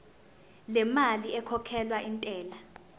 lemali ekhokhelwa intela